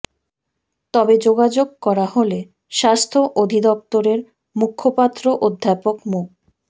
তবে যোগাযোগ করা হলে স্বাস্থ্য অধিদপ্তরের মুখপাত্র অধ্যাপক মো